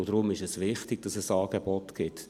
Darum ist es wichtig, dass es Angebote gibt: